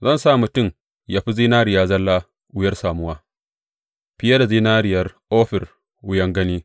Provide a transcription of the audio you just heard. Zan sa mutum yă fi zinariya zalla wuyar samuwa, fiye da zinariyar Ofir wuyan gani.